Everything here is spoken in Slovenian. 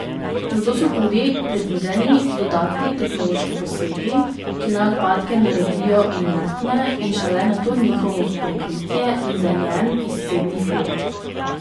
Zato so tudi predvideni dodatni tehnološki posegi, ki naj odpadke naredijo inertne, in šele nato njihovo prekritje in zajem izcednih vod.